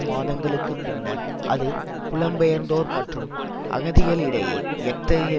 மாதங்களுக்கு பின்னர் அது புலம்பெயர்ந்தோர் மற்றும் அகதிகளிடையே எத்தகைய